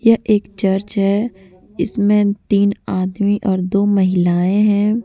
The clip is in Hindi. यह एक चर्च है इसमें तीन आदमी और दो महिलाएं हैं।